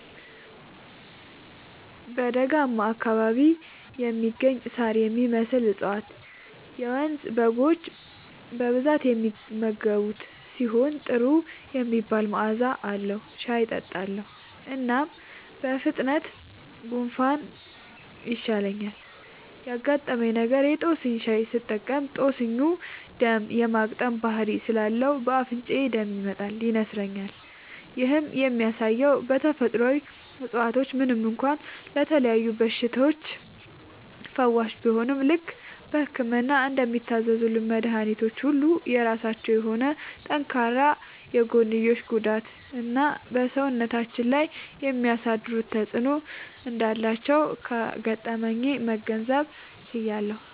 (በደጋማ አካባቢ የሚገኝ ሳር የሚመስል እፀዋት - የመንዝ በጎች በብዛት የሚመገቡት ሲሆን ጥሩ የሚባል መዐዛ አለዉ) ሻይ እጠጣለሁ። እናም በፍጥነት ጉንፋኑ ይሻለኛል። ያጋጠመኝ ነገር:- የ ጦስኝ ሻይ ስጠቀም ጦስኙ ደም የ ማቅጠን ባህሪ ስላለው በ አፍንጫዬ ደም ይመጣል (ይነስረኛል)። ይህም የሚያሳየው ተፈጥሮአዊ እፀዋቶች ምንም እንኳ ለተለያዩ በሽታዎች ፈዋሽ ቢሆኑም፣ ልክ በህክምና እንደሚታዘዙልን መድኃኒቶች ሁሉ የራሳቸው የሆነ ጠንካራ የጎንዮሽ ጉዳትና በ ሰውነታችን ላይ የሚያሳድሩት ተጵዕኖ እንዳላቸው ከገጠመኜ መገንዘብ ችያለሁ።